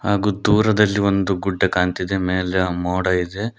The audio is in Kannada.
ಹಾಗು ದೂರದಲ್ಲಿ ಒಂದು ಗುಡ್ಡ ಕಾಣ್ತಿದೆ ಮೇಲೆ ಆ ಮೋಡ ಇದೆ.